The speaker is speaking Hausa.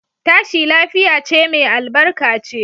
Tashi lafiya ce mai albarka ce.